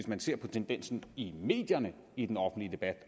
man ser på tendensen i medierne i den offentlige debat